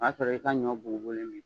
O y'a sɔrɔ i ka ɲɔ bugubugulen b'i